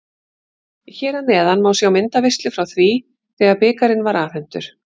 Hér að neðan má sjá myndaveislu frá því þegar bikarinn var afhentur.